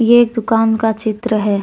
ये एक दुकान का चित्र है।